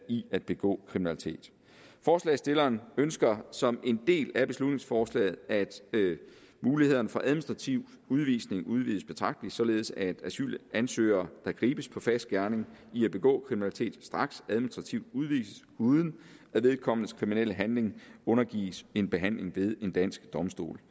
i at begå kriminalitet forslagsstillerne ønsker som en del af beslutningsforslaget at mulighederne for administrativ udvisning udvides betragteligt således at asylansøgere der gribes på fersk gerning i at begå kriminalitet straks administrativt udvises uden at vedkommendes kriminelle handling undergives en behandling ved en dansk domstol